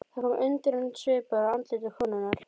Það kom undrunarsvipur á andlit konunnar.